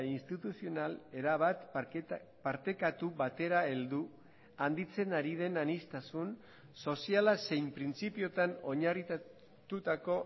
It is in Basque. instituzional erabat partekatu batera heldu handitzen ari den aniztasun soziala zein printzipioetan oinarritutako